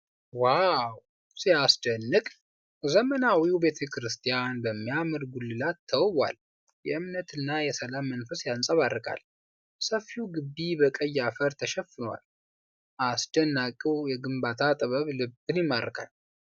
ዋው ሲያስደንቅ! ዘመናዊው ቤተክርስቲያን በሚያምር ጉልላት ተውቧል። የእምነትና የሰላም መንፈስ ያንጸባርቃል። ሰፊው ግቢ በቀይ አፈር ተሸፍኗል። አስደናቂው የግንባታ ጥበብ ልብን ይማርካል!